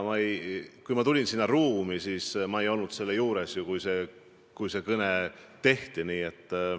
Aga see oli alanud, kui ma sinna ruumi astusin, ma ei olnud selle juures, kui see kõne võeti.